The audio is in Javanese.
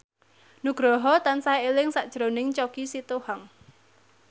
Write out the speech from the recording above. Nugroho tansah eling sakjroning Choky Sitohang